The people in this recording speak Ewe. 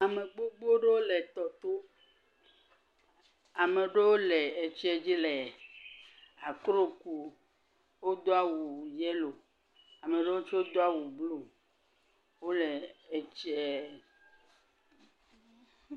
Ame gbogbo ɖewo le etsia to. Ame ɖewo le etsia dzi le akro ku. Wodo awu yelo, ame ɖe tsi do awu blu. Wole etsia.,.......